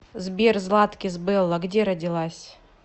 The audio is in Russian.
сбер златкис белла где родилась